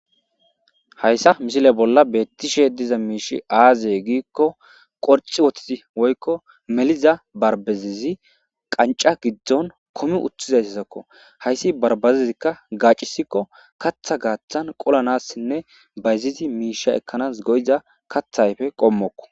Hayssa misile bolla beettishe diza miishi aaze giikko qorci wotiti woykko meliza barbazizi qanca giddon komi utthizayssazakko hayssi barbazizikka gaaccisikko katha gaaththan qolanassinne bayzizi miisha ekkanas goyiza kathayfe qommokko.